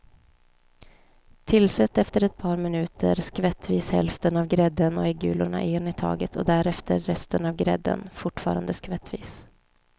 Tillsätt efter ett par minuter skvättvis hälften av grädden och äggulorna en i taget och därefter resten av grädden, fortfarande skvättvis.